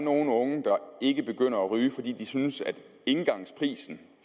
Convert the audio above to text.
nogle unge der ikke begynder at ryge fordi de synes at prisen